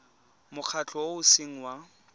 mokgatlho o o seng wa